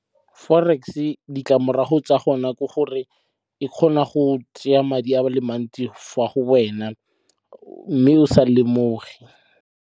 Forex-e ditlamorago tsa gona ke gore e kgona go tseya madi a le mantsi fa go wena o mme o sa lemoge.